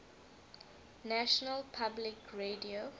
national public radio